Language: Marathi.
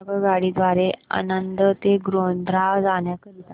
आगगाडी द्वारे आणंद ते गोध्रा जाण्या करीता